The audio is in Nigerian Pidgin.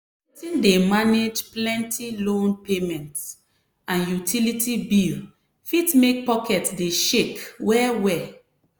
wetin dey manage plenty loan payment and utility bill fit make pocket dey shake well well.